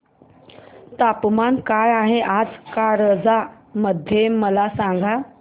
तापमान काय आहे आज कारंजा मध्ये मला सांगा